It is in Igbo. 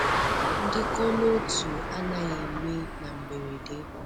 Ndịkọ n'otu anaghị eme na mberede.